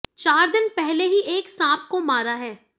चार दिन पहले ही एक सांप को मारा है